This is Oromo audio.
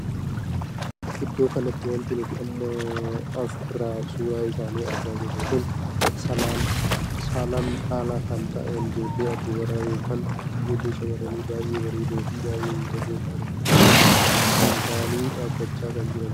Iddoo kanatti wanti nuti amma as irra suuraa isaanii argaa jiru kun saalaan dhalaa kan taa'an ijoollee dubaraa ykn ijoollee shamarranii baay'ee bareedoo fi baay'ee miidhagoo taa'anidha. akkasuma illee Shan taa'anii dhaabbachaa kan jiranidha.